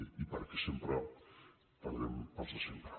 i perquè sempre perdem els de sempre